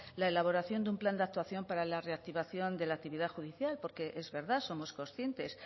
la elaboración de un plan de actuación para la reactivación de la actividad judicial porque es verdad somos conscientes